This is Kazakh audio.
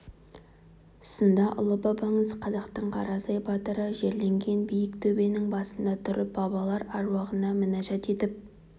сында ұлы бабаңыз қазақтың қарасай батыры жерленген биік төбенің басында тұрып бабалар аруағына мінәжат етіп